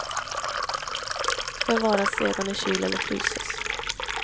Förvaras sedan i kyl eller fryses.